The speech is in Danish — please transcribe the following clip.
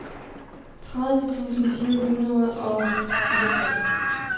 tredive tusind fire hundrede og fireogfyrre